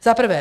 Za prvé.